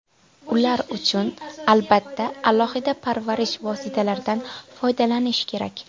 Ular uchun, albatta, alohida parvarish vositalaridan foydalanish kerak.